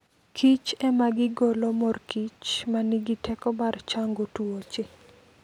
Kich ema gigolo mor kich ma nigi teko mar chango tuoche.